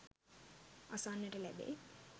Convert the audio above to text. අසන්නට ලැබෙයි.